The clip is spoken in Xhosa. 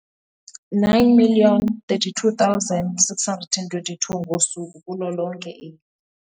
9 032 622 ngosuku kulo lonke eli.